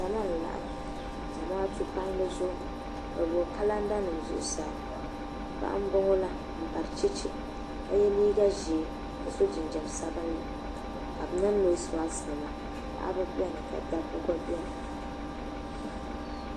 Zama n laɣim Zamaatu palli zuɣu bɛ gbibi kalanda nima zuɣusaa paɣa m boŋɔla m bari cheche ka ye liiga ʒee ka so jinjiɛm sabinli ka bɛ niŋ noosi maaki nima paɣaba biɛni ka dabba gba biɛni.